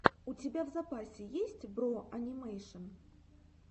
у тебя в запасе есть бро анимэйшн